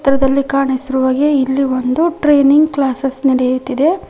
ಚಿತ್ರದಲ್ಲಿ ಕಾಣಿಸಿರುವ ಹಾಗೆ ಇಲ್ಲಿ ಒಂದು ಟ್ರೈನಿಂಗ್ ಕ್ಲಾಸೆಸ್ ನೆಡೆಯುತ್ತಿದೆ.